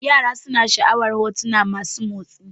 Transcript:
Yara suna sha'awar hotuna masu motsi